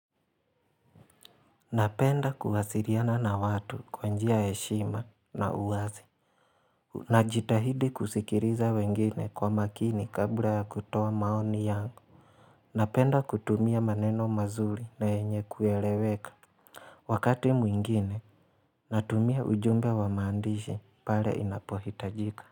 Napenda kuwasiriana na watu kwa njia ya heshima na uwazi Najitahidi kusikiriza wengine kwa makini kabla ya kutoa maoni yangu Napenda kutumia maneno mazuri na yenye kueleweka Wakati mwingine Natumia ujumbe wa maandishi pale inapohitajika.